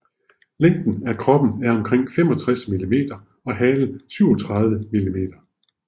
Længden af kroppen er omkring 65 millimeter og halen 37 millimeter